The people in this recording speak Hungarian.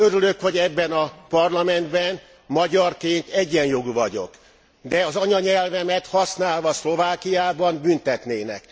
Örülök, hogy ebben a Parlamentben magyarként egyenjogú vagyok, de az anyanyelvemet használva Szlovákiában büntetnének.